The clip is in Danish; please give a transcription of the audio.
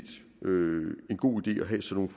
en god idé at have sådan